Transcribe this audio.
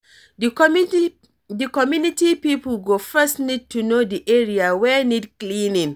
Di community pipo go first need to know di area wey need cleaning